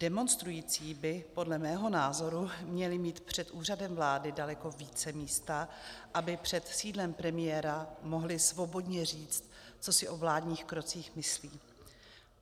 Demonstrující by podle mého názoru měli mít před Úřadem vlády daleko více místa, aby před sídlem premiéra mohli svobodně říct, co si o vládních krocích myslí.